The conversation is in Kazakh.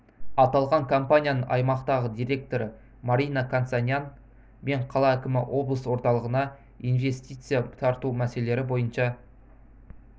аталған компанияның аймақтағы директоры марина констанян мен қала әкімі облыс орталығына инвестиция тарту мәселелері бойынша